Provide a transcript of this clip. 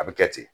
A bɛ kɛ ten